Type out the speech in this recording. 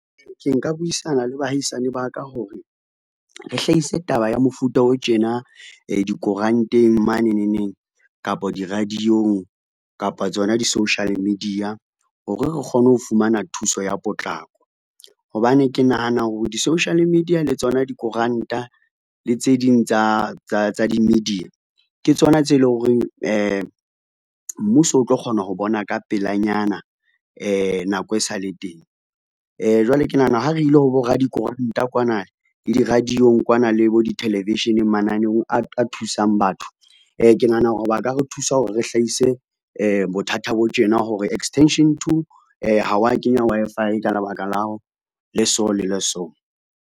Ke nka buisana le baahisane ba ka hore, re hlahise taba ya mofuta o tjena dikoranteng maneneng neng kapa di-radio-ng kapa tsona di-social media, hore re kgone ho fumana thuso ya potlako. Hobane ke nahana hore di-social media le tsona dikoranta le tse ding tsa di-media ke tsona tse lo reng mmuso o tlo kgona ho bona ka pelanyana nako e sale teng. Jwale ke nahana ho re ile ho bo radikoranta kwana le di-radio-ng kwana le bo di-television-eng mananeong a thusang batho, ke nahana hore ba ka re thusa hore re hlahise bothata bo tjena hore extension two ha wa kenya Wi-Fi ka lebaka le so le le so.